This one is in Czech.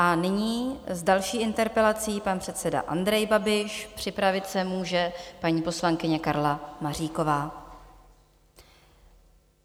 A nyní s další interpelací pan předseda Andrej Babiš, připravit se může paní poslankyně Karla Maříková.